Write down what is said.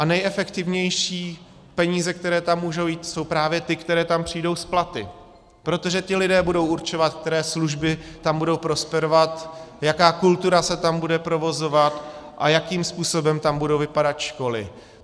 A nejefektivnější peníze, které tam můžou jít, jsou právě ty, které tam přijdou s platy, protože ti lidé budou určovat, které služby tam budou prosperovat, jaká kultura se tam bude provozovat a jakým způsobem tam budou vypadat školy.